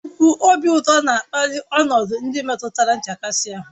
Nnukwu obi ụtọ na-akpali ọnọdụ ndị metụtara nchekasị ahụ